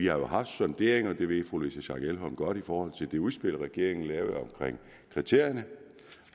har haft sonderinger og det ved fru louise schack elholm godt i forhold til det udspil regeringen lavede omkring kriterierne